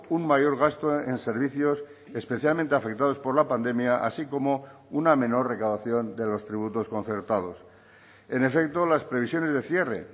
un mayor gasto en servicios especialmente afectados por la pandemia así como una menor recaudación de los tributos concertados en efecto las previsiones de cierre